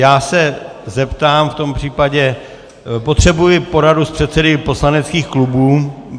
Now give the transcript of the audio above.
Já se zeptám, v tom případě potřebuji poradu s předsedy poslaneckých klubů.